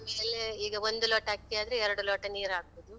ಆಮೇಲೆ, ಈಗ ಒಂದು ಲೋಟ ಅಕ್ಕಿ ಆದ್ರೆ, ಎರ್ಡು ಲೋಟ ನೀರ್ ಹಾಕುದು.